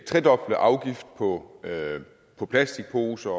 tredobler afgiften på på plastikposer